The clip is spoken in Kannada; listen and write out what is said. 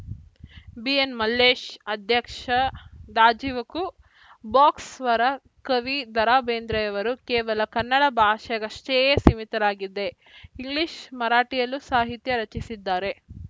ಬಿಎನ್‌ಮಲ್ಲೇಶ್‌ ಅಧ್ಯಕ್ಷ ದಾಜಿವಕೂ ಬಾಕ್ಸ್‌ ವರ ಕವಿ ದರಾಬೇಂದ್ರೆಯವರು ಕೇವಲ ಕನ್ನಡ ಭಾಷೆಗಷ್ಟೇ ಸೀಮಿತರಾಗಿದೆ ಇಂಗ್ಲಿಷ್‌ ಮರಾಠಿಯಲ್ಲೂ ಸಾಹಿತ್ಯ ರಚಿಸಿದ್ದಾರೆ